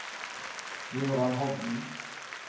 Jøran Hovden